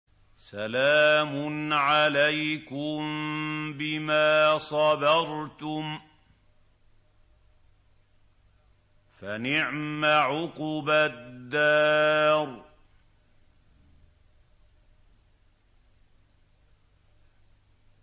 سَلَامٌ عَلَيْكُم بِمَا صَبَرْتُمْ ۚ فَنِعْمَ عُقْبَى الدَّارِ